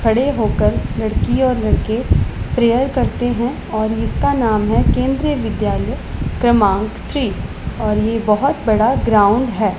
खड़े होकर लड़की और लड़के प्रेयर करते हैं और इसका नाम है केंद्रीय विद्यालय क्रमांक थ्री और ये बहोत बड़ा ग्राउंड है।